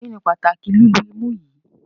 Kíni pátàkì lìlù ìmú yìí?